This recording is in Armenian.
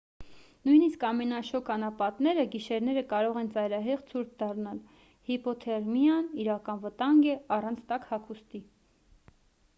նույնիսկ ամենաշոգ անապատները գիշերները կարող են ծայրահեղ ցուրտ դառնալ հիպոթերմիան իրական վտանգ է առանց տաք հագուստի